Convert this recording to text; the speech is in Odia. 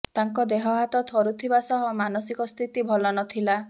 ତାଙ୍କ ଦେହହାତ ଥରୁଥିବା ସହ ମାନସିକ ସ୍ଥିତି ଭଲ ନଥିଲା